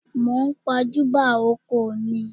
Mò ń pàjùbà oko mi